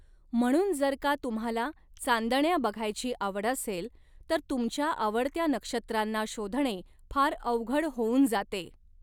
म्हणून, जर का तुम्हाला चांदण्या बघायची आवड असेल, तर तुमच्या आवडत्या नक्षत्रांना शोधणे फार अवघड होउन जाते.